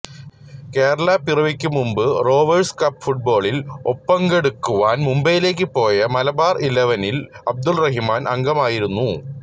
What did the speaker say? കേരളപ്പിറവിക്കു മുമ്പ് Rovers cup ഫുട് ബോളിൽ ഒപങ്കെടുക്കാൻ മുംബൈയിലേക്ക് പോയ മലബാർ ഇലവനിൽ അബ്ദുറഹിമാൻ അംഗമായിരുന്നു